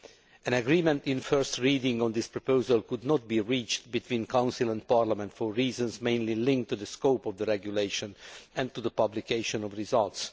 An agreement at first reading on this proposal could not be reached between Council and Parliament for reasons mainly linked to the scope of the Regulation and to the publication of results.